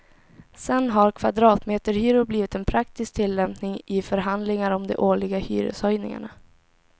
Sen har kvadratmeterhyror blivit en praktisk tillämpning i förhandlingar om de årliga hyreshöjningarna.